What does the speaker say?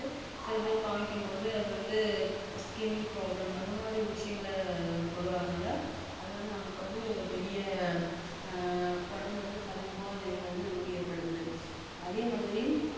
சில பேருக்கு காமிக்கும் போது அது வந்து skinproblem அந்த மாதிரி விஷயங்கள் கொண்டு வரனால அது வந்து நம்மக்கு பெரிய அஹ் உடம்புல வந்து பல உபாதைகள் நமக்கு ஏற்படுத்துதல் அதே மாதிரி